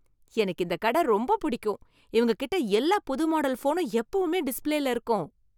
எனக்கு இந்த கடை ரொம்ப பிடிக்கும். இவங்ககிட்ட எல்லா புது மாடல் ஃபோனும் எப்பவுமே டிஸ்ப்ளேல இருக்கும்.